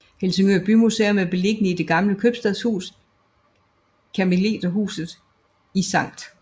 Helsingør Bymuseum er beliggende i det gamle købstadshus Karmeliterhuset i Sct